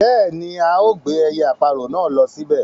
Bẹ́ẹ̀ni ao gbé ẹyẹ-aparọ̀ náà ló síbẹ̀